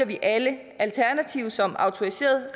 vi alle alternative som autoriserede